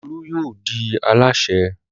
Olú yóò di alásè.